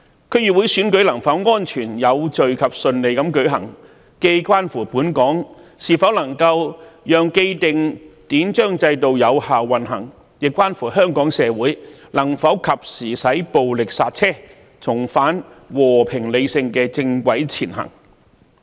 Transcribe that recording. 區議會選舉能否安全、有序及順利地舉行，既關乎本港能否讓既定的典章制度有效運行，亦關乎香港社會能否及時使暴力剎車，重返和平理性的正軌前行。